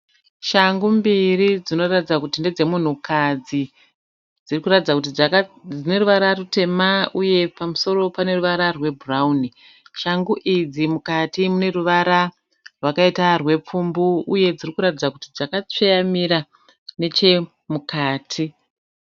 Shangu mbiri dzinoratidza kuti ndedzemunhukadzi. Dzirikuratidza kuti dzineruvara rutema uye pamusoro paneruvara rwebhurauni. Shangu idzi mukati muneruvara rwakaita rwepfumbu uye dzirikuratidza kuti dzakatsveyamira nechemukati.